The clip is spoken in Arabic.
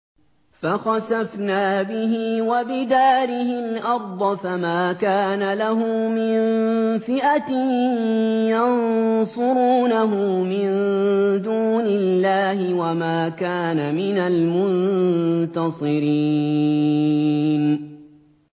فَخَسَفْنَا بِهِ وَبِدَارِهِ الْأَرْضَ فَمَا كَانَ لَهُ مِن فِئَةٍ يَنصُرُونَهُ مِن دُونِ اللَّهِ وَمَا كَانَ مِنَ الْمُنتَصِرِينَ